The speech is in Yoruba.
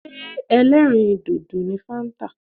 Ṣé ẹlẹ́rìì dòdò ni fáńtà.